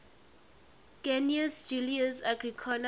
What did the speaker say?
gnaeus julius agricola